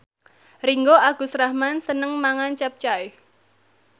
Ringgo Agus Rahman seneng mangan capcay